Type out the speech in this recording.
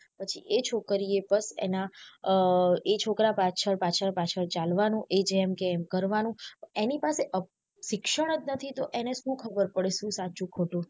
પછી એ છોકરી એ પણ એના અ એ છોકરા પાછળ પાછળ પાછળ ચાલવાનું એ જેમ કે એ કરવાનું એની પાસે શિક્ષણ જ નથી તો એને શું ખબર પડે શું સાચું ખોટું.